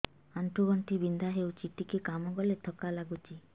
ଆଣ୍ଠୁ ଗଣ୍ଠି ବିନ୍ଧା ହେଉଛି ଟିକେ କାମ କଲେ ଥକ୍କା ଲାଗୁଚି